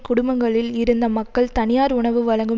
குடும்பங்களில் இருந்த மக்கள் தனியார் உணவு வழங்கும்